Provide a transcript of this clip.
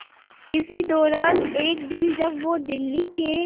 इसी दौरान एक दिन जब वो दिल्ली के